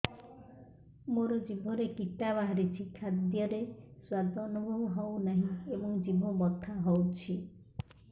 ମୋ ଜିଭରେ କିଟା ବାହାରିଛି ଖାଦ୍ଯୟରେ ସ୍ୱାଦ ଅନୁଭବ ହଉନାହିଁ ଏବଂ ଜିଭ ବଥା ହଉଛି